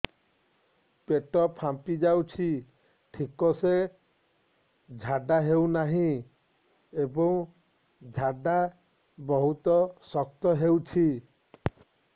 ପେଟ ଫାମ୍ପି ଯାଉଛି ଠିକ ସେ ଝାଡା ହେଉନାହିଁ ଏବଂ ଝାଡା ବହୁତ ଶକ୍ତ ହେଉଛି